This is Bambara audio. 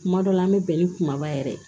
Kuma dɔ la an bɛ bɛn ni kumaba yɛrɛ ye